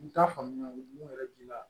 N t'a faamuya mun yɛrɛ bi la